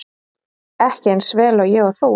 Ekki eins vel og ég og þú.